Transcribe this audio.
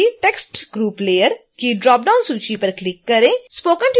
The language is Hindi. sttext group layer की ड्रॉपडाउन सूची पर क्लिक करें